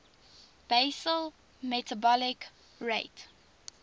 basal metabolic rate